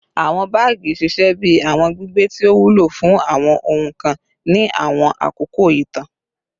Awọn baagi ṣiṣẹ bi awọn gbigbe ti o wulo fun awọn ohun kan ni awọn akoko itan